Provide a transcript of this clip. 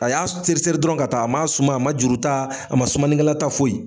A y'a seri seri ka taa dɔrɔn ka taa ,a ma suma a ma juru ta a ma sumanikɛkala ta foyi.